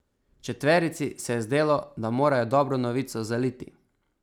Četverici se je zdelo, da morajo dobro novico zaliti.